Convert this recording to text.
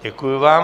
Děkuji vám.